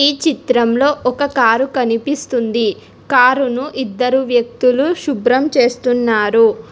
ఈ చిత్రంలో ఒక కారు కనిపిస్తుంది కారును ఇద్దరు వ్యక్తులు శుభ్రం చేస్తున్నారు.